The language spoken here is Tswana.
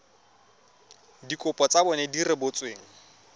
dikopo tsa bona di rebotsweng